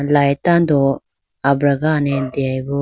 light tando abragane deyayi bo.